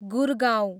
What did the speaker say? Gurgaon